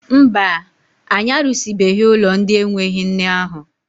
Mba, anyị arụsịbeghị ụlọ ndị enweghị nne ahụ.